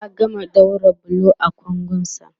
ya gama ɗaura bulo a kangon sa